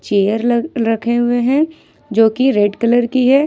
Air ल रखे हुए हैं जो की रेड कलर की है।